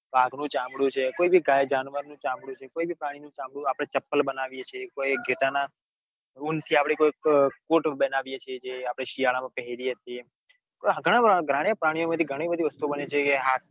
વાઘ નુ ચામડું છે. કોઈબી ગે જાનવર નું ચામડું છે કોઈ બી પ્રાણીનું ચામડું આપડે ચપ્પલ બનાવીએ છીએ કોઈ ઘેટાના ઉન થી કોઈક કોટ બનાવીએ છીએ. જે શિયાળા માં પહેરીએ છીએ છીએ. આ ઘણા બધા પ્રાણીઓ માંથી ઘણી બધી વસ્તુ બને છે કે